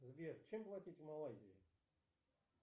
сбер чем платить в малайзии